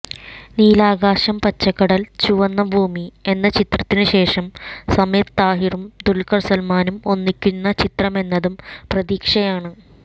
നീലാകാശം പച്ചക്കടല് ചുവന്ന ഭൂമി എന്ന ചിത്രത്തിന് ശേഷം സമീര് താഹിറും ദുല്ഖര് സല്മാനും ഒന്നിയ്ക്കുന്ന ചിത്രമെന്നതും പ്രതീക്ഷയാണ്